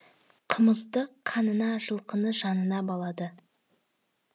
қымызды қанына жылқыны жанына балады